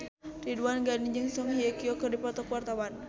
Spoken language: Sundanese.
Ridwan Ghani jeung Song Hye Kyo keur dipoto ku wartawan